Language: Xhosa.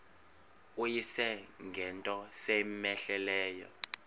uyise ngento cmehleleyo